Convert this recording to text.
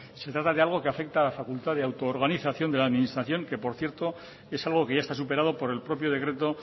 se trata de algo que afecta a la facultad de autoorganización de la administración que por cierto es algo que ya está superado por el propio decreto